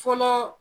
Fɔlɔ